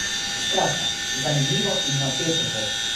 Skratka, zanimivo in napeto bo!